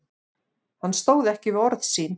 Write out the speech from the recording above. Hann stóð ekki við orð sín.